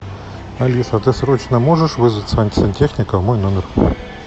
алиса ты срочно можешь вызвать сантехника в мой номер